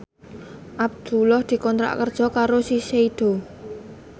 Abdullah dikontrak kerja karo Shiseido